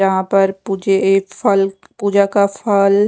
जहां पर पूजे एक फल पूजा का फल--